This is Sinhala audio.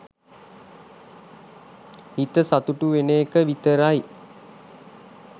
හිත සතුටු වෙන එක විතරයි.